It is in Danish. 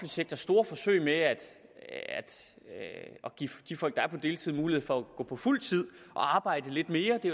sektor store forsøg med at give de folk der er på deltid mulighed for at gå på fuldtid og arbejde lidt mere det